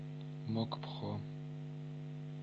мокпхо